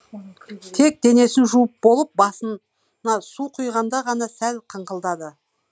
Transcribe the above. тек денесін жуып болып басына су құйғанда ғана сәл қыңқылдады